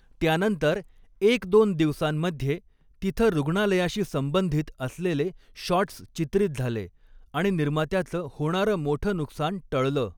त्यानंतर एकदोन दिवसांमध्ये तिथं रुग्णालयाशी संबंधित असलेले शॉटस् चित्रित झाले आणि निर्मात्याचं होणारं मोठं नुकसान टळल.